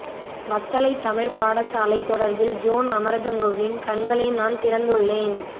வத்தளை தமிழ் பாடசாலை தொடர்பில் ஜோன் அமரதுங்கவின் கண்களை நான் திறந்துள்ளேன்